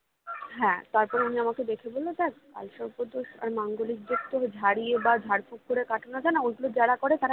হ্যাঁ তারপর উনি আমাকে দেখে বলেছিলো দেখ কালসর্প দোষ আর মাঙ্গলিক দোষ তো ঝড়িয়ে বা ঝাড়ফুঁক করে কাটানো যায়না ওগুলো যারা করে তারা